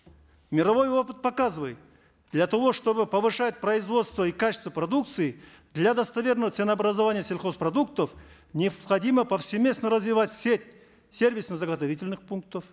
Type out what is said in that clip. мировой опыт показывает для того чтобы повышать производство и качество продукции для достоверного ценообразования сельхозпродуктов необходимо повсеместно развивать сеть сервисно заготовительных пунктов